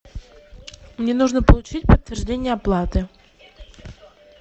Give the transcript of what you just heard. мне нужно получить подтверждение оплаты